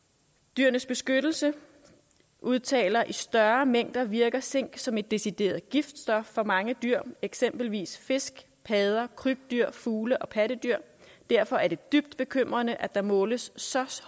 dyrenes beskyttelse udtaler i større mængder virker zink som et decideret giftstof for mange dyr eksempelvis fisk padder krybdyr fugle og pattedyr derfor er det dybt bekymrende at der måles så